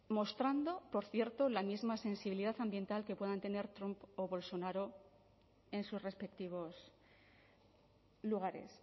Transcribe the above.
mostrando por cierto la misma sensibilidad ambiental que puedan tener trump o bolsonaro en sus respectivos lugares